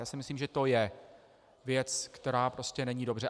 Já si myslím, že to je věc, která prostě není dobře.